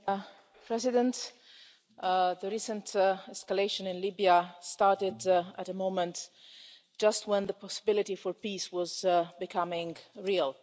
Madam President, the recent escalation in Libya started at a moment just when the possibility for peace was becoming real.